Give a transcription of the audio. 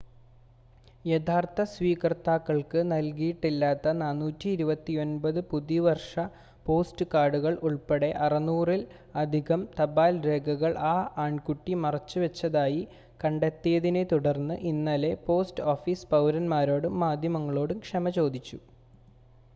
യഥാർത്ഥ സ്വീകർത്താക്കൾക്ക് നൽകിയിട്ടില്ലാത്ത 429 പുതുവർഷ പോസ്റ്റ് കാർഡുകൾ ഉൾപ്പടെ 600-ൽ അധികം തപാൽ രേഖകൾ ആ ആൺകുട്ടി മറച്ചുവെച്ചതായി കണ്ടെത്തിയതിനെ തുടർന്ന് ഇന്നലെ പോസ്റ്റ് ഓഫീസ് പൗരൻമാരോടും മാധ്യമങ്ങളോടും ക്ഷമ ചോദിച്ചു